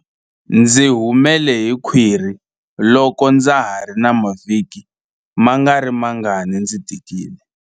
Ndzi humele hi khwiri loko ndza ha ri na mavhiki mangarimangani ndzi tikile.